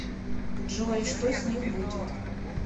джой что с ним будет